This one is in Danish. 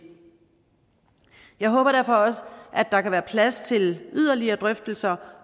jeg håber derfor også at der kan være plads til yderligere drøftelser